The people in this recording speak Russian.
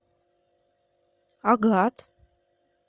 агат